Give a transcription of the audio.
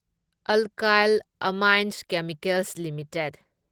Alkyl Amines Chemicals limited